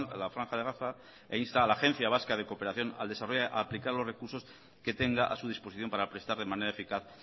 la franja de gaza e insta a la agencia vasca de cooperación al desarrollo a aplicar los recursos que tenga a su disposición para prestar de manera eficaz